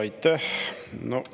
Aitäh!